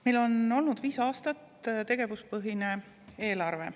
Meil on olnud viis aastat tegevuspõhine eelarve.